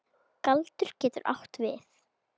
Galdur getur átt við